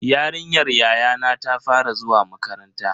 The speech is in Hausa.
Yarinyar yayana ta fara zuwa makaranta.